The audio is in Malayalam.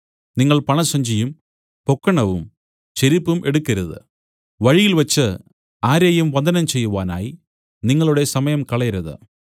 നിങ്ങൾ പണസഞ്ചിയും പൊക്കണവും ചെരിപ്പും എടുക്കരുത് വഴിയിൽവെച്ച് ആരെയും വന്ദനം ചെയ്യുവാനായി നിങ്ങളുടെ സമയം കളയരുത്